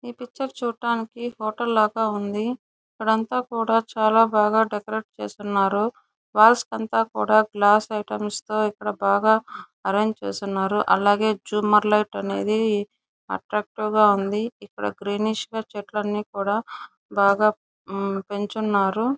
ఇ picture చూట్టానికి hotel లాగా ఉంది ఇక్కడ అంత కుఢ చాలా బాగా డెకరేట్ చేసున్నారు కూడ గ్లాస్ ఐటమ్స్ తో ఇక్కడ బాగా అర్రెంగే చేసున్నారు అల్లాగే ఝుమర్ లైట్ అనేది అత్త్రచ్తివె గా ఉంది ఇక్కడ గ్రీనిష్ గా చెట్లని కుడా బాగా పెంచున్నారు.